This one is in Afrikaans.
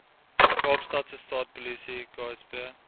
kaapstadse stadspolisie ksp